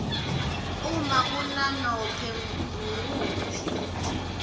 uma kunanobe nguwuphi